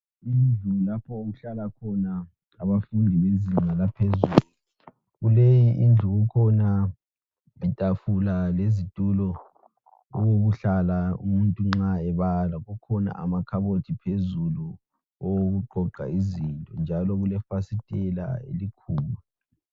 Indlu lapho okuhlala khona abafundi bezinga laphezulu. Kuleyi indlu kukhona itafula lezitulo okokuhlala nxa umuntu ebala. Kukhona amakhabothi phezulu awokuqoqa izinto. Njalo kulefasitela elikhulu.